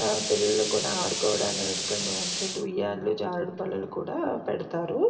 పిల్లలు కూడా ఆడుకోవడానికి ఉయ్యాలలు జారుడుబల్లలు కూడా పెడతారు.